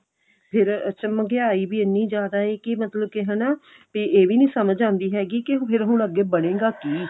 ਫਿਰ ਅੱਛਾ ਮਹਿੰਗਿਆਈ ਵੀ ਇੰਨੀ ਜਿਆਦਾ ਏ ਕੀ ਮਤਲਬ ਕੇ ਹਨਾ ਇਹ ਵੀ ਨੀ ਸਮਝ ਆਉਂਦੀ ਕੀ ਫਿਰ ਹੁਣ ਅੱਗੇ ਬਣੇਗਾ ਕੀ